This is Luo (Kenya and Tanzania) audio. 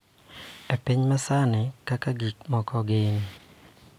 E piny ma sani kaka gik moko gin.